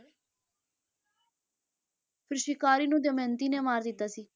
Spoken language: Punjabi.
ਫਿਰ ਸ਼ਿਕਾਰੀ ਨੂੰ ਦਮਿਅੰਤੀ ਨੇ ਮਾਰ ਦਿੱਤਾ ਸੀ।